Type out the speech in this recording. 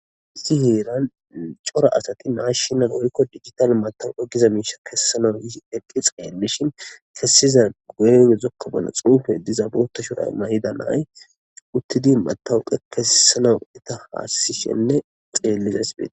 Issi heeran cora asati naashinal worikko digital matawu egiza miisha kessana yi eqqi xeellishin kessiza guye yezokka bana xuufe iddiza bota shoray may7ida nay uttidi matawu qe kesisanaw eta haassishenne xeellizays beti.